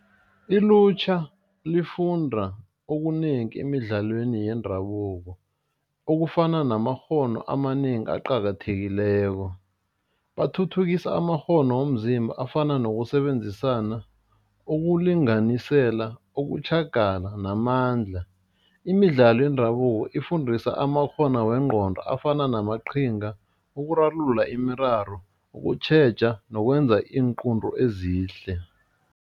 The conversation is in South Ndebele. Ilutjha lifunda okunengi emidlalweni yendabuko okufana namakghono amanengi aqakathekileko, bathuthukisa amakghono womzimba afana nokusebenzisana, ukulinganisela, ukutjhagala namandla, imidlalo yendabuko ifundisa amakghono wengqondo afana namaqhinga, ukurarulula imiraro, ukutjheja nokwenza iinqunto ezihle.